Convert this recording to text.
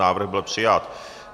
Návrh byl přijat.